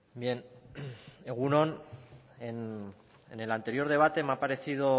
bien egun on en el anterior debate me ha parecido